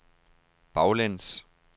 baglæns